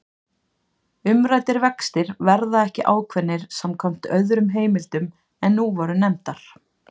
Umræddir vextir verða ekki ákveðnir samkvæmt öðrum heimildum en nú voru nefndar.